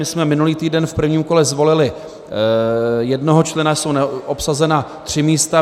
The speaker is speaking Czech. My jsme minulý týden v prvním kole zvolili jednoho člena, jsou neobsazena tři místa.